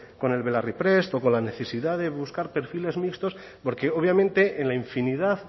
con el belarriprest o con la necesidad de buscar perfiles mixtos porque obviamente en la infinidad